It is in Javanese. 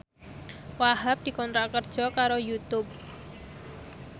Wahhab dikontrak kerja karo Youtube